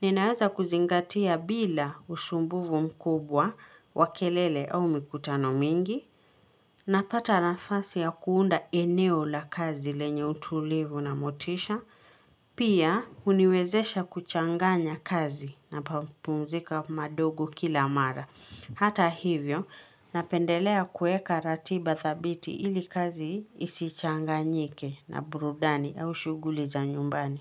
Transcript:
Ninaweza kuzingatia bila usumbufu mkubwa wa kelele au mikutano mingi. Napata nafasi ya kuunda eneo la kazi lenye utulivu na motisha. Pia uniwezesha kuchanganya kazi na pa pumzika madogo kila mara. Hata hivyo, napendelea kuweka ratiba thabiti ili kazi isichanganyike na burudani au shughuli za nyumbani.